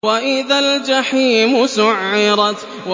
وَإِذَا الْجَحِيمُ سُعِّرَتْ